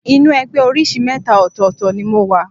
Inú ẹgbẹ́ oríṣìí mẹ́ta ọ̀tọ̀ọ̀tọ̀ ni mo wà